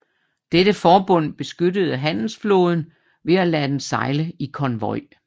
Dette forbund beskyttede handelsflåden ved at lade den sejle i konvoj